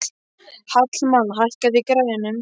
Hallmann, hækkaðu í græjunum.